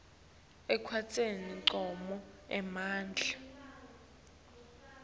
ekwenteni ncono emandla